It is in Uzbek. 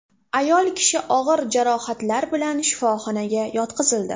Ayol kishi og‘ir jarohatlar bilan shifoxonaga yotqizildi.